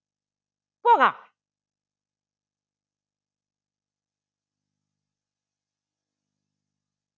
പോകാ